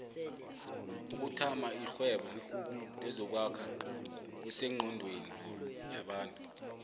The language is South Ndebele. ukuthama irhwebo lezokwakha kusenqondweni yabantu